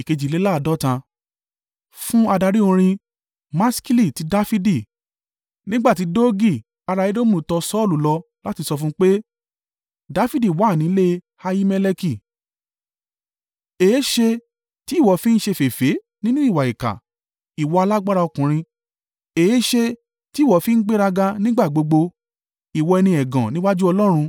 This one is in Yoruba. Fún adarí orin. Maskili ti Dafidi. Nígbà tí Doegi ará Edomu tọ Saulu lọ láti sọ fún pé, “Dafidi wà ní ilé Ahimeleki.” Èéṣe tí ìwọ fi ń ṣe féfé nínú ìwà ìkà, ìwọ alágbára ọkùnrin? Èéṣe tí ìwọ fi ń gbéraga nígbà gbogbo, ìwọ ẹni ẹ̀gàn níwájú Ọlọ́run?